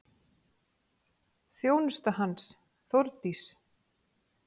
Þjónusta hans, Þórdís